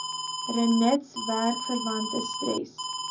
rinitis werkverwante stres